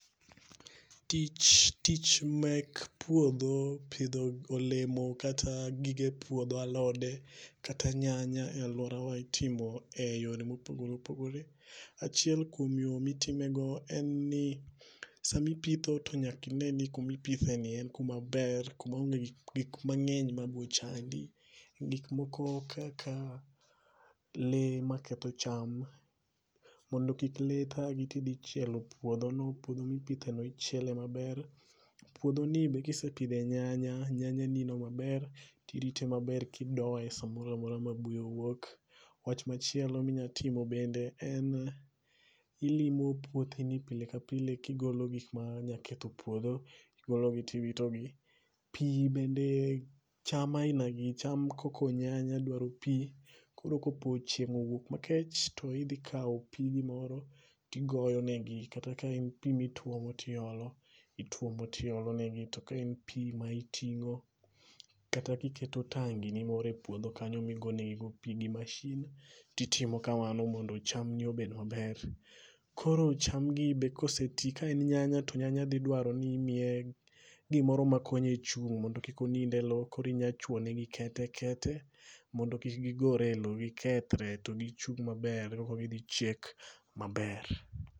Tich tich mek puodho, pidho olemo kata gige puodho alode, kata nyanya e alworawa itimo e yore ma opogore opogore. Achiel kuom yo ma itimego en ni sama ipitho to nyaka ine ni kuma ipithe ni en kuma ber. Kuma onge gi gik mangény ma biro chandi. Gik moko kaka lee maketho cham, mondo kik lee thagi tidhi chielo puodho no. Puodho mi pithe no ichiele maber. Puodho ni be kisepidhe nyanya, nyanya ni no maber, to irite maber, kidoye samoro amora ma buya owuok. Wach machielo mi nyalo timo bende en ilimo puothi ni pile ka pile, kigolo gik ma nyalo ketho puodho. Igolo gi tiwito gi. Pi bende, cham aina gi, cham kaka nyanya dwaro pi, koro ka po chieng' owuok makech, to idhi ikawo pigi moro tigoyo ne gi. Kata ka en pi mi tuomo ti olo, ituomo ti olo ne gi. To ka en pi ma itingó kata ka iketo e tangi ni moro e puodho kanyo mi go negi go pi gi machine ti timo kamano mondo chamni obed maber. Koro chamni be koseti, ka en nyanya, to nyanya dhi dwaro ni imiye gimoro ma konye chung' mondo kik onind e lowo. Koro inyalo chwoyo ne gi kete, kete mondo kik gigore e lowo gikethore to gichung' maber koka gidhi chiek maber.